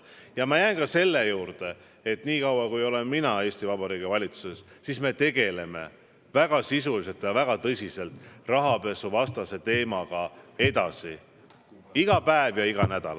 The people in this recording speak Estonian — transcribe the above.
Ja ma jään ka selle juurde, et niikaua kui mina olen Eesti Vabariigi valitsuses, tegeleme me rahapesuvastase teemaga väga sisuliselt ja väga tõsiselt edasi iga päev ja iga nädal.